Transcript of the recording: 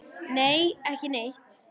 Nei, ekki neitt.